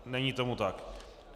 Není tomu tak.